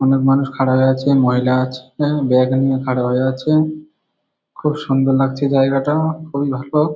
অনেক মানুষ খাড়া হয়ে আছে মহিলা আছে ব্যাগ নিয়ে খাড়া হয়ে আছে খুব সুন্দর লাগছে জায়গাটা খুবই ভালো ।